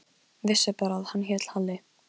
Og mundi heldur ekki til að neinn hefði nefnt það.